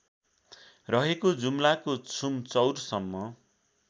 रहेको जुम्लाको छुमचौरसम्म